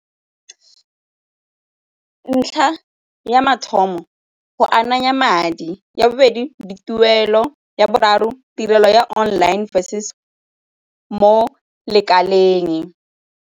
Ntlha ya mathomo go ananya madi. Ya bobedi, dituelo. Ya boraro, tirelo ya online mo lekaleng.